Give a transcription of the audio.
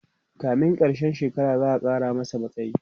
kamin karshen shekara za'a Kara masa matsayi